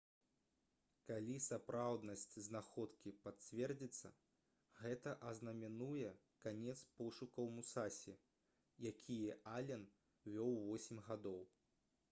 калі сапраўднасць знаходкі пацвердзіцца гэта азнаменуе канец пошукаў «мусасі» якія ален вёў восем гадоў